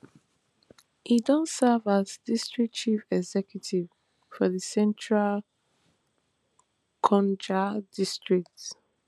e don serve as district chief executive for di central gonja district